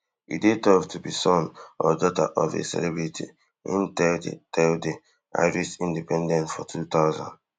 e dey tough to be son or daughter of a celebrity im tell di tell di irish independent for two thousand